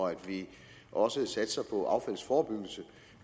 og at vi også satser på affaldsforebyggelse